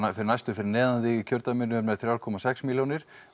næstur fyrir neðan þig í kjördæminu var með fjóra komma sex milljónir